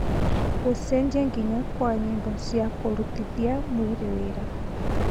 gūcenjia nginya kwa nyīmbo cia kūrutithia mwīrī wīra